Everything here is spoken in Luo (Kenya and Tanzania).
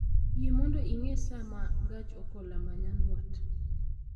Yie mondo ing'e saa ma gach okoloma nyandwat